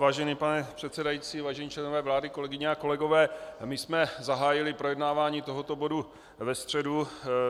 Vážený pane předsedající, vážení členové vlády, kolegyně a kolegové, my jsme zahájili projednávání tohoto bodu ve středu.